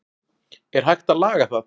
er hægt að laga það